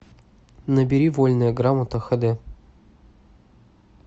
набери вольная грамота хд